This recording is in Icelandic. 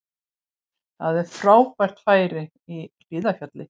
Það er frábært færi í Hlíðarfjalli